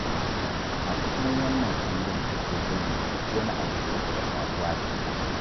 A cikin wannan kundin take zayyana duk wani abu da ya taɓa faruwa da ita